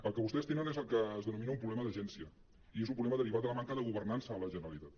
el que vostès tenen és el que es denomina un problema d’agència i és un proble·ma derivat de la manca de governança a la generalitat